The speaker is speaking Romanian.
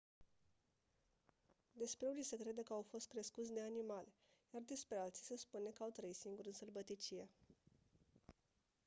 despre unii se crede că au fost crescuți de animale iar despre alții se spune că au trăit singuri în sălbăticie